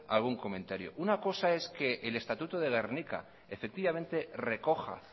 algún comentario una cosa es que el estatuto de gernika recoja